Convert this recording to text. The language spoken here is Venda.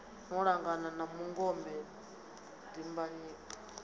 no langana na mungome timhaka